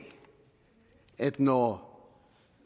at når